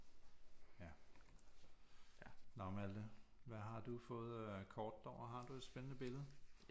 Ja nå Malthe hvad har du fået af kort derovre har du et spændende billede